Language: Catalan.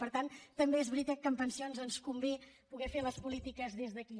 per tant també és veritat que en pensions doncs convé poder fer les polítiques des d’aquí